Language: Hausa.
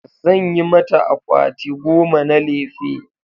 Zan yi mata akwati goma na lefe